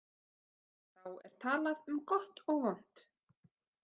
Þá er talað um gott og vont.